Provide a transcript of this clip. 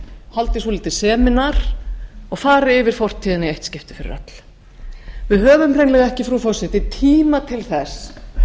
haldi svolítið semínar og fari yfir fortíðina í eitt skipti fyrir öll við höfum hreinlega ekki frú forseti tíma til þess